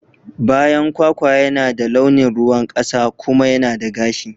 Bayan kwakwa yana da launin ruwan kasa kuma yana da gashi.